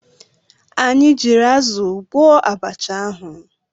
Anyị jiiri azụ gwọọ abacha ahụ.